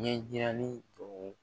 Ɲɛjirali tɔw